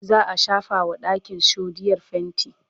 za'a shafa wa ɗakin shoɗiyar fainti